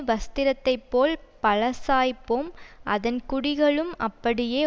வஸ்திரத்தை போல் பழசாய்ப்போம் அதன் குடிகளும் அப்படியே